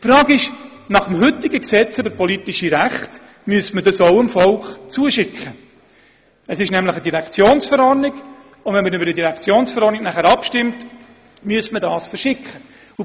Es handelt sich nämlich um eine Direktionsverordnung, und wenn man über eine Direktionsverordnung abstimmen würde, müsste man diese den Leuten zusenden.